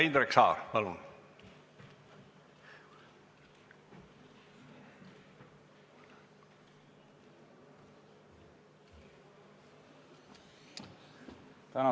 Indrek Saar, palun!